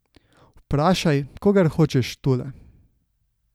Vprašaj, kogar hočeš tule.